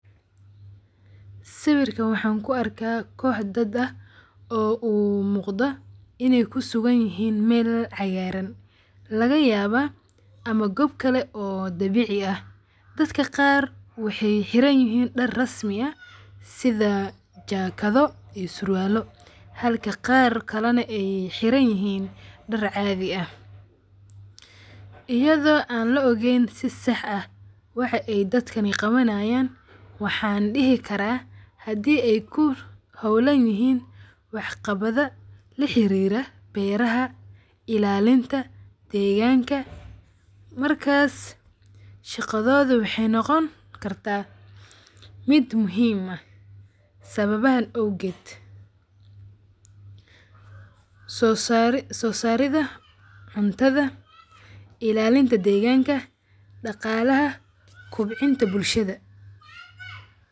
Sawirkaan waxan ku arka koox daad aah oo mooqda inay kusuganiyihn meel cagaran lagayaaba ama goob kale ee dabici aah. Daadka qaar waxay xiranyihiin daar rasmi aah sidha jacket dho iyo surwaalo halka qaar kale na ay xiranyihiin daar caadhi ah. Iyadho aan laogeen si sax aah waxay aay daakan qawanayan waxan dihii karaa hadi ay ku hawlanyihiin wax qabadha la xirira beeraha ilalinta deganka markaas shagadhodha waxay nogoon kartaa mid muhiim aah sababahan awgeed; so saridha cuntadha, ilaalinta deeganka, dagalaha ,kubcinta bulshada .